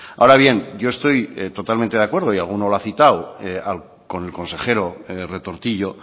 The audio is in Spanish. ahora bien yo estoy totalmente de acuerdo y alguno lo ha citado con el consejero retortillo